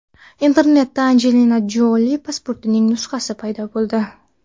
Internetda Anjelina Joli pasportining nusxasi paydo bo‘ldi.